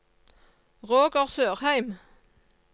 Roger Sørheim